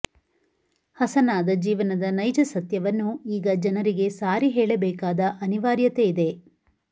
ಹಸನಾದ ಜೀವನದ ನೈಜ ಸತ್ಯವನ್ನು ಈಗ ಜನರಿಗೆ ಸಾರಿ ಹೇಳಬೇಕಾದ ಅನಿವಾರ್ಯತೆಯಿದೆ